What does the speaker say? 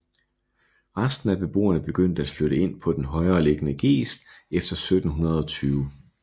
Resten af beboerne begyndte at flytte ind på den højere liggende geest efter 1720